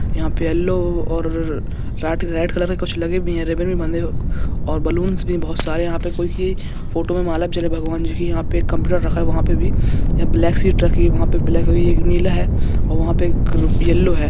यहा पर येलो और रेड कलर का लगे है रिबिन और बलुंस भि बहुत सारे है फोटो मे माला है भगवान जी की कोम्प्यूटर भि दिख रहा है वहा पे भी यह ब्लैक सिट दिख रही हैएक नील हैऔर यहा पर येलो है।